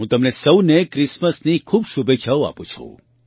હું તમને સહુને ક્રિસમસની ખૂબ શુભેચ્છાઓ આપું છું